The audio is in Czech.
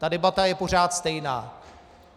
Ta debata je pořád stejná.